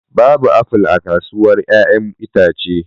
Babu apple a kasuwar 'ya'yan itace